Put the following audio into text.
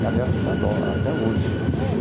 E, aliás, até adoro até hoje, né?